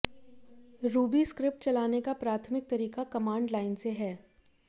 ruby script चलाने का प्राथमिक तरीका कमांड लाइन से है